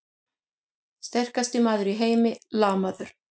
Sterkasti maður í heimi lamaður!